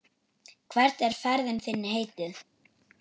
Hvert er ferð þinni heitið?